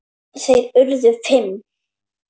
Þeir urðu fimm.